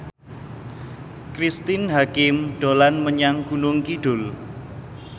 Cristine Hakim dolan menyang Gunung Kidul